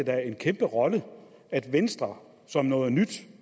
da en kæmpe rolle at venstre som noget nyt